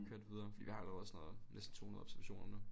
Køre det videre fordi vi har alligevel sådan noget 200 observationer nu